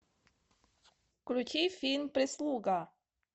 включи фильм прислуга